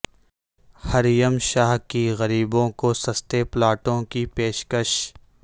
حریم شاہ کی غریبوں کو سستے پلاٹوں کی پیشکش